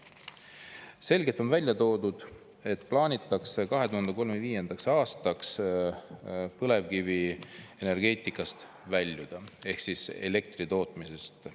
Selgelt on välja toodud, et plaanitakse 2035. aastaks põlevkivienergeetikast väljuda ehk elektri tootmisest.